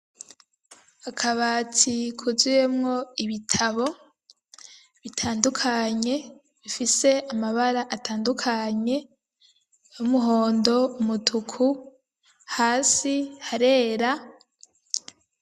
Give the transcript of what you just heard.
Akabati kuzuyemwo ibitabo bitandukanye bifise amabara atandukanye, y'umuhondo, umutuku, hasi harera.